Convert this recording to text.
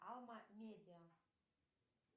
алма медиа